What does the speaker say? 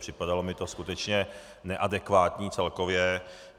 Připadalo mi to skutečně neadekvátní celkově.